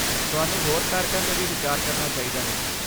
ਤੁਹਾਨੂੰ ਹੋਰ ਕਾਰਕਾਂ 'ਤੇ ਵੀ ਵਿਚਾਰ ਕਰਨਾ ਚਾਹੀਦਾ ਹੈ।